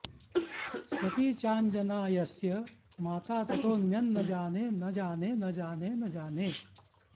सती चाञ्जना यस्य माता ततोऽन्यं न जाने न जाने न जाने न जाने